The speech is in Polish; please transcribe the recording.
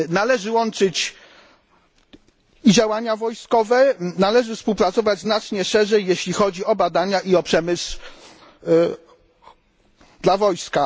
Należy łączyć i działania wojskowe, należy współpracować znacznie szerzej, jeśli chodzi o badania i przemysł dla wojska.